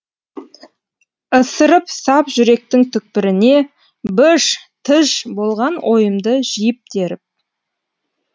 ысырып сап жүректің түкпіріне быж тыж болған ойымды жиып теріп